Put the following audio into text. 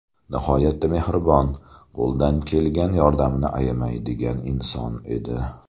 Nihoyatda mehribon, qo‘ldan kelgan yordamini ayamaydigan inson edi.